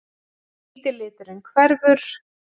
Hvíti liturinn hverfur.